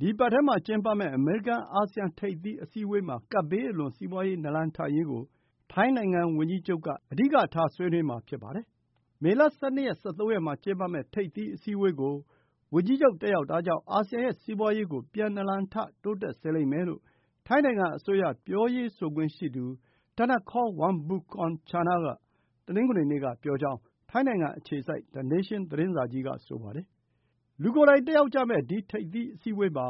ဒီအပတ်ထဲမှာကျင်းပမယ့် အမေရိကန်-အာဆီယံ ထိပ်သီးအစည်းအဝေးမှာ ကပ်ဘေးအလွန် စီးပွားရေး နာလန်ထရေးကို ထိုင်းနိုင်ငံဝန်ကြီးချုပ်က အဓိကထား ဆွေးနွေးမှာ ဖြစ်ပါတယ်။ မေလ ၁၂ ရက်နဲ့ ၁၃ ရက်နေ့တွေမှာ ကျင်းပမယ့် ထိပ်သီးအစည်းအဝေးကို ဝန်ကြီးချုပ် တက်ရောက်တာကြောင့် အာဆီယံရဲ့ စီးပွားရေးကို ပြန်နာလန်ထ တိုးတက်စေလိမ့်မယ်လို့ ထိုင်းနိုင်ငံအစိုးရ ပြောရေးဆိုခွင့်ရှိသူ Thanakorn Wangboonkongchana က တနင်္ဂနွေနေ့က ပြောကြောင်း ထိုင်းနိုင်ငံအခြေစိုက် The Nation သတင်းစာကြီးက ဆိုပါတယ်။ လူကိုယ်တိုင်တက်ရောက်ကြမယ့် ဒီထိပ်သီးအစည်းအဝေးမှာ